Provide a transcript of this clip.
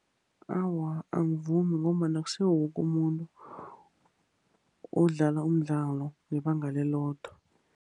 Awa, angivumi. Ngombana akusiwo woke umuntu odlala umdlalo ngebanga lelothe.